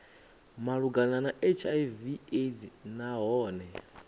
malugana na hiv aids nahone